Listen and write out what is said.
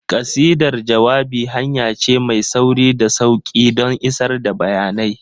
Ƙasidar jawabai hanya ce mai sauri da sauƙi don isar da bayanai.